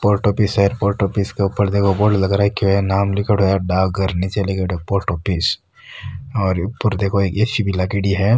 Post office है post office के उपरे देखो बोर्ड लग राख्यो है नाम लिख्योड़ो है डाकघर नीचे लिख्योड़ो है पोस्ट ऑफिस और ऊपर देखो एक ए.सी. भी लागयोड़ी है।